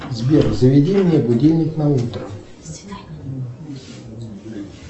сбер заведи мне будильник на утро